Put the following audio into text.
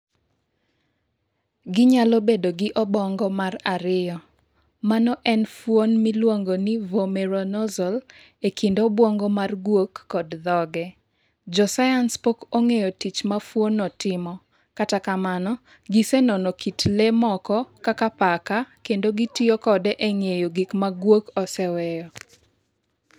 Ginyalo bedo gi obong'o mar ariyo. Mano en fuon miluongo ni vomeronasal e kind obwongo mar guok kod dhoge. Josayans pok ong'eyo tich ma fuonno timo, kata kamano, gisenono kit le moko kaka paka, kendo gitiyo kode e ng'eyo gik ma guok oseweyo.